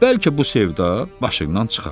Bəlkə bu sevda başından çıxa.